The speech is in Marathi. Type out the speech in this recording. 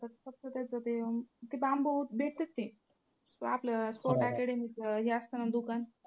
फक्त त्याचं ते ते बांबू भेटतात ते ते आपलं sport academy हे असतं ना दुकान.